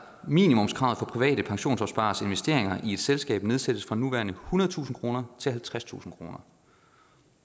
minimumskravet for private pensionsopspareres investering i ét selskab nedsættes fra nuværende ethundredetusind kroner til halvtredstusind kroner